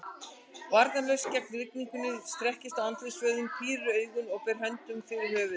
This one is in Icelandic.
Varnarlaus gegn rigningunni, strekkist á andlitsvöðvunum, pírir augun og ber hönd fyrir höfuð.